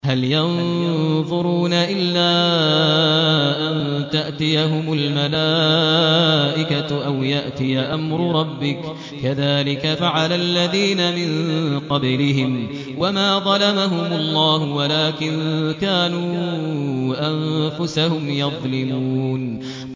هَلْ يَنظُرُونَ إِلَّا أَن تَأْتِيَهُمُ الْمَلَائِكَةُ أَوْ يَأْتِيَ أَمْرُ رَبِّكَ ۚ كَذَٰلِكَ فَعَلَ الَّذِينَ مِن قَبْلِهِمْ ۚ وَمَا ظَلَمَهُمُ اللَّهُ وَلَٰكِن كَانُوا أَنفُسَهُمْ يَظْلِمُونَ